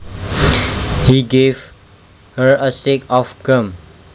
He gave her a stick of gum